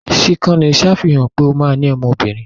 Síkànì ṣàfihàn pé ó ma ní ọmọ obìnrin